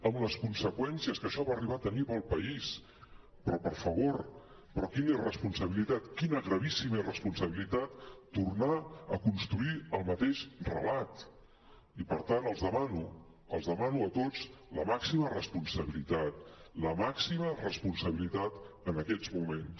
amb les conseqüències que això va arribar a tenir per al país però per favor però quina irresponsabilitat quina gravíssima irresponsabilitat tornar a construir el mateix re·lat i per tant els demano els demano a tots la màxima responsabilitat la màxima responsabilitat en aquests moments